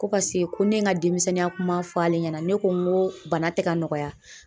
Ko pase ko ne ye ŋa demisɛnninya kuma fɔ ale ɲɛna, ne ko ŋoo bana tɛ ka nɔgɔya.